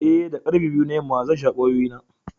Ee, da karfe biyu na yamma, zan sha kwayoyi na.